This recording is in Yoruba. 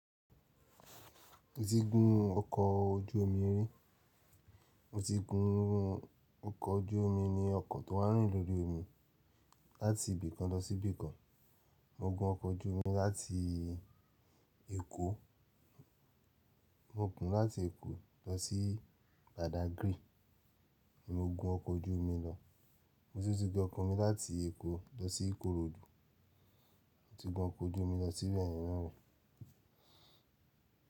Mo ti gún ọkọ̀ ojú omi rí. Mo ti gún ọkọ̀ ojú omi ni ọkọ̀ tó n rìn lórí omi láti ibì kan lọ sí ibì kan. Mo gun ọkọ̀ ojú omi láti Èkó, mo gún láti Èkó lọ sí Badagry, mo gun ọkọ̀ ojú omi lọ. Mo sì ti gún ọkọ̀ mi láti Èkó lọ sí Ikorodu mo ti gún ọkọ̀ ojú omi lọ sí Benin naa ri.